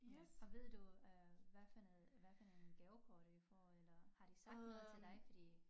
Ja og ved du øh hvad for noget hvad for nogle gavekort vi får eller har de sagt noget til dig fordi